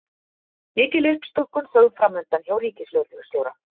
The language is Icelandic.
Mikil uppstokkun sögð framundan hjá ríkislögreglustjóra